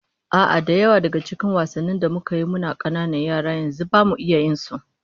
A'a, da yawa daga cikin wasannin da muka yi muna kananan yara, yanzu bama iya yin su